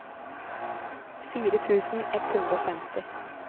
fire tusen ett hundre og femti